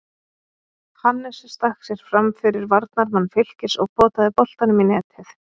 Hannes stakk sér framfyrir varnarmann Fylkis og potaði boltanum í netið.